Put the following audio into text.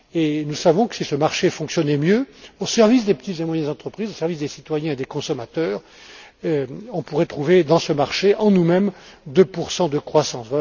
pas. Or, nous savons que, si ce marché fonctionnait mieux au service des petites et moyennes entreprises, au service des citoyens et des consommateurs, on pourrait trouver dans ce marché, en nous mêmes, 2 de croissance.